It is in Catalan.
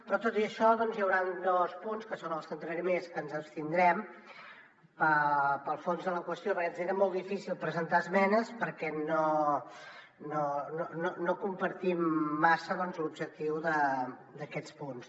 però tot i això doncs hi hauran dos punts que són en els que entraré més que ens abstindrem pel fons de la qüestió perquè ens era molt difícil presentar esmenes perquè no compartim massa l’objectiu d’aquests punts